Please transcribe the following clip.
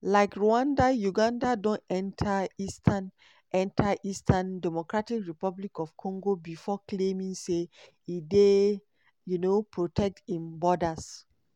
like rwanda uganda don enta eastern enta eastern dr congo before claiming say e dey um protect im borders.